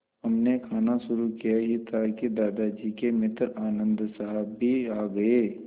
हमने खाना शुरू किया ही था कि दादाजी के मित्र आनन्द साहब भी आ गए